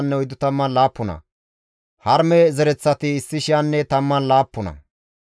Lebana, Hagabenne Aqube zereththata,